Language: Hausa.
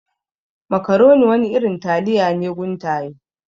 Makaroni wani irin taliya ne guntaye.